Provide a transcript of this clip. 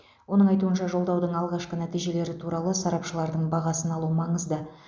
оның айтуынша жолдаудың алғашқы нәтижелері туралы сарапшылардың бағасын алу маңызды